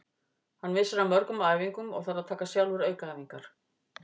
Hann missir af mörgum æfingum og þarf að taka sjálfur aukaæfingar.